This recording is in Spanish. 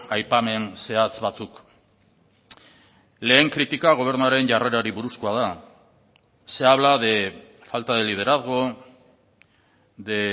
aipamen zehatz batzuk lehen kritika gobernuaren jarrerari buruzkoa da se habla de falta de liderazgo de